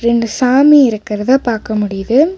ரெண்டு சாமி இருக்குறத பாக்க முடியுது.